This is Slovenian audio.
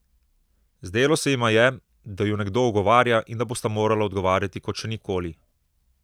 Zdelo se jima je, da ju nekdo ogovarja in da bosta morala odgovarjati kot še nikoli.